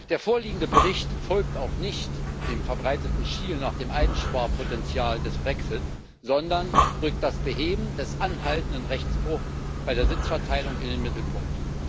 Der vorliegende Bericht folgt auch nicht dem verbreiteten Schielen nach dem Einsparpotenzial des Brexit, sondern rückt das Beheben des anhaltenden Rechtsbruchs bei der Sitzverteilung in den Mittelpunkt.